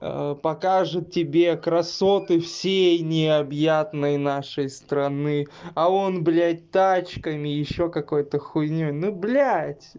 покажет тебе красоты всей необъятной нашей страны а он блядь тачками ещё какой-то хуйнёй ну блядь